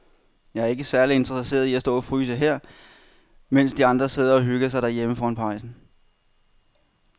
Jeg er ikke særlig interesseret i at stå og fryse her, mens de andre sidder og hygger sig derhjemme foran pejsen.